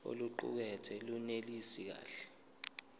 oluqukethwe lunelisi kahle